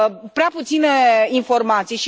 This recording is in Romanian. prea puține informații.